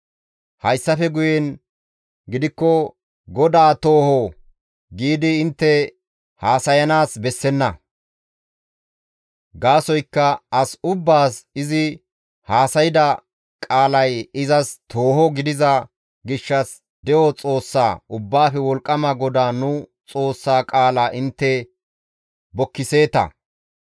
Hayssafe guyen gidikko, ‹GODAA tooho› giidi intte haasayanaas bessenna. Gaasoykka as ubbaas izi haasayda qaalay izas tooho gidiza gishshas de7o Xoossa, Ubbaafe Wolqqama GODAA nu Xoossa qaala intte bokkiseeta.